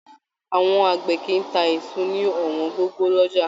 Àwọn àgbẹ̀ kìí tá èso ní ọwọn gogo l'ọjà